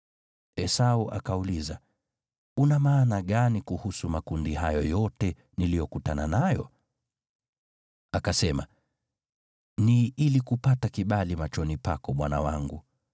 Esau akauliza, “Una maana gani kuhusu makundi hayo yote niliyokutana nayo?” Akasema, “Ni ili kupata kibali machoni pako, bwana wangu.”